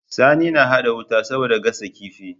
Sani na hada wuta saboda gasa kifi